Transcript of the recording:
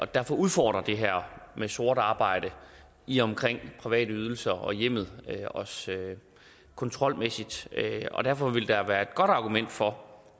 derfor udfordrer det her med sort arbejde i og omkring private ydelser og hjemmet os kontrolmæssigt og derfor ville der være et godt argument for